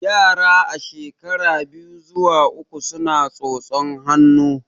Yara a shekara biyu zuwa uku suna tsotsan hannu